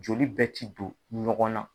Joli bɛ tɛ don ɲɔgɔn na.